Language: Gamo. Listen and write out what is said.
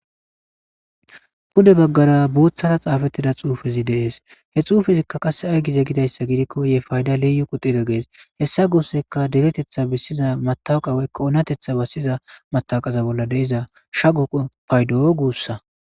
Pude baggara buuththara xaafettida xuufezi dees he xuufizikka qasse ay gize gidayssa gidikko ye fayda liyu qutire gees hessa guusseka deretetha bissiza matawqaweykka oonatetha bassiza mataqaza bolla deiza shago paydoo guussa.